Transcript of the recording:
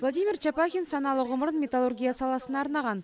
владимир чопахин саналы ғұмырын металлургия саласына арнаған